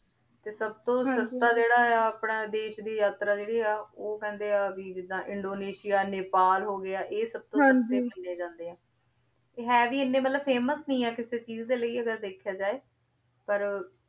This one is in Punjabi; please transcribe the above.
ਤੇ ਸਬ ਤੋਂ ਸਸਤਾ ਜੇਰਾ ਆਯ ਆ ਅਪਨੇ ਦੇਸ਼ ਦੀ ਯਾਤਰਾ ਜੇਰੀ ਆ ਊ ਕੇਹ੍ਨ੍ਡੇ ਆ ਜਿਦਾਂ ਇੰਦੋਨੇਸਿਆ ਨੈਪਾਲ ਹੋ ਗਯਾ ਆਯ ਸਬ ਤੋਂ ਸਸਤੇ ਪੈਂਡੇ ਜਾਂਦੇ ਆ ਹੈ ਵੀ ਏਨੇ ਮਤਲਬ famous ਨਾਈ ਆ ਕਿਸੇ ਚੀਜ਼ ਦਾ ਲੈ ਮਤਲਬ ਅਗਰ ਵੇਖ੍ਯਾ ਜੇ ਪਰ